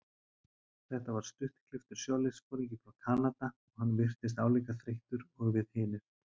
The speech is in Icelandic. Þetta var stuttklipptur sjóliðsforingi frá Kanada og hann virtist álíka þreyttur og við hinir.